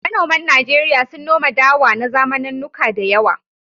Manoman Najeriya sun noma dawa na zamanannuka da yawa.